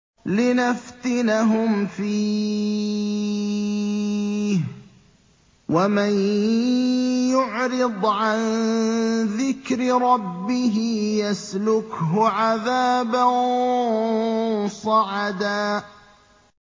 لِّنَفْتِنَهُمْ فِيهِ ۚ وَمَن يُعْرِضْ عَن ذِكْرِ رَبِّهِ يَسْلُكْهُ عَذَابًا صَعَدًا